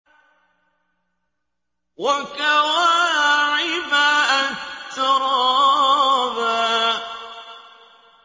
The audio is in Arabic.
وَكَوَاعِبَ أَتْرَابًا